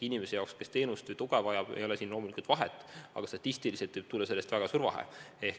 Inimese jaoks, kes teenust või tuge vajab, ei ole siin loomulikult vahet, aga statistiliselt võib sellest tulla väga suur vahe.